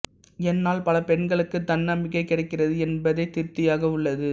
என்னால் பல பெண்களுக்கு தன்னம்பிக்கை கிடைக்கிறது என்பதே திருப்தியாக உள்ளது